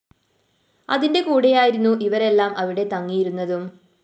അതിന്റെ കൂടെയായിരുന്നു ഇവരെല്ലാം അവിടെ തങ്ങിയിരുന്നതും